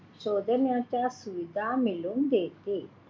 शोधण्याच्या सुविधा मिळवून देते.